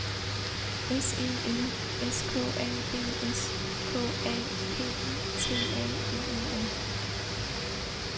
S E L S K A B S K A P I T A L E N